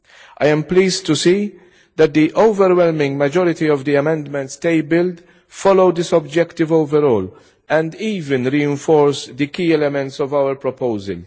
I am pleased to see that the overwhelming majority of the amendments tabled follow this objective overall, and even reinforce the key elements of our proposal.